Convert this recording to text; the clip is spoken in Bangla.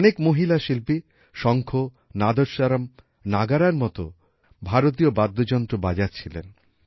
অনেক মহিলা শিল্পী শঙ্খ নাদস্বরম নাগারার মতো ভারতীয় বাদ্যযন্ত্র বাজাচ্ছিলেন